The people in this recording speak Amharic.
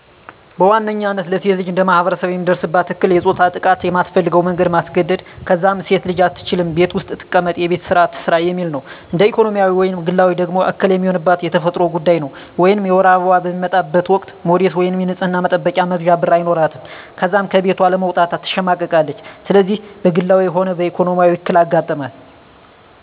በዋነኝነታ ለሴት ልጅ እንደማህበረሰብ የሚደርስባት እክል የፆታዊ ጥቃት በማትፈልገው መንገድ ማስገድ፣ ከዛም ሴት አትችልም ቤት ውስጥ ትቀመጥ የቤቱን ስራ ትስራ የሚል ነው። እንደ ኢኮኖሚያዊ ወይም ግላዊ ደግሞ እክል የሚሆንባት የተፈጥሮ ጉዳይ ነው ወይም የወር አበባዋ በሚመጣበት ወቅት ሞዴስ ወይም የንፅህና መጠበቂያ መግዣ ብር አይኖራትም ከዛም ከቤቷ ለመውጣት ትሸማቀቃለች። ስለዚህ በግላዊ ሆነ በኢኮኖሚ እክል አጋጠማት።